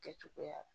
Kɛcogoya la